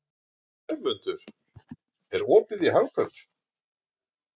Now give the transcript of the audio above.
Hermundur, er opið í Hagkaup?